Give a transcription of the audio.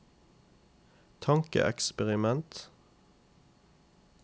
tankeeksperiment